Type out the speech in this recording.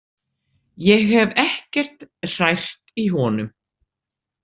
Ég hef ekkert hrært í honum.